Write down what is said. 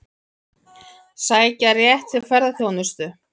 Sækja rétt til ferðaþjónustu